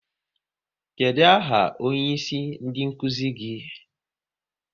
Kedụ aha onyeisi ndị nkuzi gị?